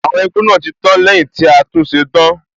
Àwọn igbó náà tí tán lẹ́yìn tí a tún ṣe tán.